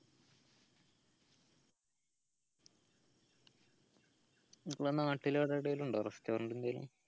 ഇങ്ങളെ നാട്ടിൽ അവിടെ എവിടേയും ഇണ്ടോ restaurant എന്തേലും